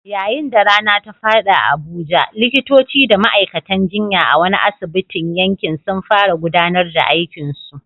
Yayin da rana ta faɗi a Abuja, likitoci da ma'aikatan jinya a wani asibitin yankin sun fara gudanar da aikinsu.